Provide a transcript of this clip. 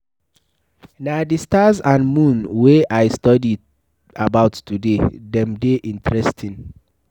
Na the stars and moon wey I study about today. Dem dey interesting.